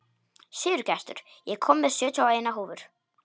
Sigurgestur, ég kom með sjötíu og eina húfur!